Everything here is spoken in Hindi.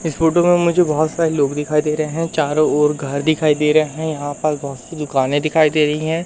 इस फोटो में मुझे बहोत सारे लोग दिखाई दे रहे हैं चारों ओर घर दिखाई दे रहे हैं यहां पास बहोत सी दुकाने दिखाई दे रही है।